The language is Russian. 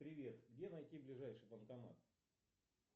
привет где найти ближайший банкомат